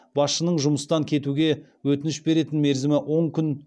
басшының жұмыстан кетуге өтініш беретін мерзімі он күн